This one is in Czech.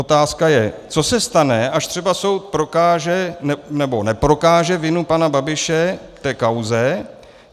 Otázka je, co se stane, až třeba soud prokáže, nebo neprokáže vinu pana Babiše v té kauze?